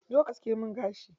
Zo ka aske min gashi.